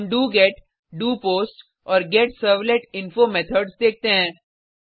हम do get do post और get servlet info methods देखते हैं